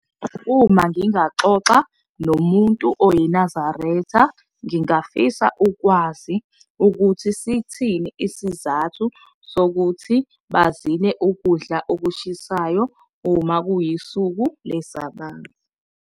Uma ngingaxoxa nomuntu oyiNazaretha, ngingafisa ukwazi ukuthi sithini isizathu sokuthi bazile ukudla okushisayo uma kuyisuku leSabatha.